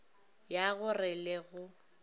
ya go re le go